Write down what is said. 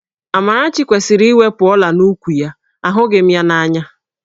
Amarachi kwesịrị iwepu ọ̀lá n'úkwù ya, ahụghị m ya n'anya